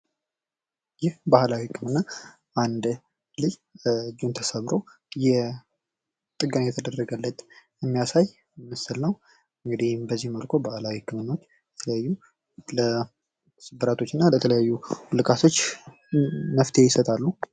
ይህ ባህላዊ በሆነ መልኩ አንድ ልጅ እጁን ተሰብሮ ጥገና እየተደረገለት የሚያሳይ ምስል ነው ። እንግዲህ በዚህም መልኩ ባህላዊ ህክምናዎች ለተለያዩ ስብራቶችና ለተለያዩ ውልቃቶች መፍትሄ ይሰጣሉ።